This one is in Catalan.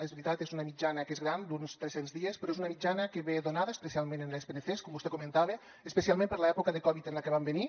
és veritat és una mitjana que és gran d’uns tres cents dies però és una mitjana que ve donada especialment en les pncs com vostè comentava especialment per l’època de covid en la que van venir